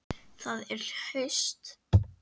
Það er haust.